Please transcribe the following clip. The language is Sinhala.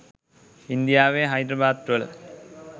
ඉන්දියාවේ හයිද්‍රාබාද් වල